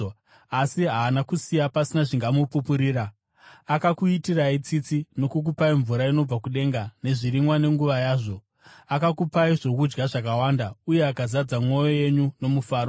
Asi haana kusiya pasina zvingamupupurira: Akakuitirai tsitsi nokukupai mvura inobva kudenga nezvirimwa nenguva yazvo; akakupai zvokudya zvakawanda uye akazadza mwoyo yenyu nomufaro.”